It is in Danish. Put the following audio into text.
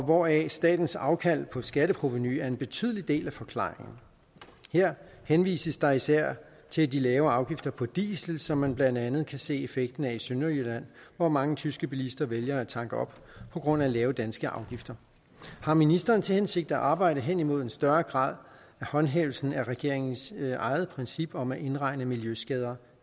hvoraf statens afkald på skatteprovenu er en betydelig del af forklaringen her henvises der især til de lave afgifter på diesel som man blandt andet kan se effekten af i sønderjylland hvor mange tyske bilister vælger at tanke op på grund af lave danske afgifter har ministeren til hensigt at arbejde hen imod en større grad af håndhævelse af regeringens eget princip om at indregne miljøskader